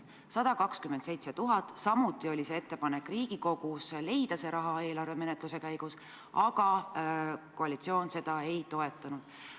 127 000 eurot, selle kohta oli samuti tehtud Riigikogus ettepanek leida see raha eelarvemenetluse käigus, aga koalitsioon seda ei toetanud.